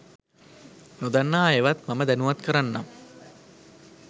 නොදන්නා අයවත් මම දැනුවත් කරන්නම්